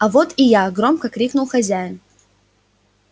а вот и я громко крикнул хозяин